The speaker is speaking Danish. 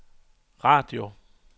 radio